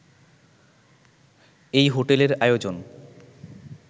এই হোটেলের আয়োজন